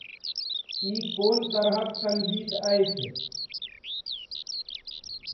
ई कोन तरहक सङ्गीत अछि?